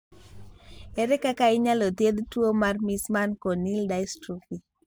Ere kaka inyalo thiedh tuwo mar Meesmann corneal dystrophy?